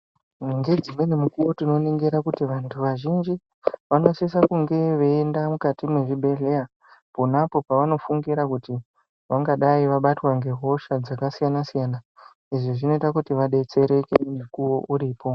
Ngedzimweni mukuwo tinonyengera kuti vantu vazhinji vanosise kunge veyenda mukati mezvibhedhleya khonapo pavanofungira kuti vangadai vabatwa ngehosha dzakasiyana siyana. Izvi zvinoita kuti vadetsereke mukuwo uripo.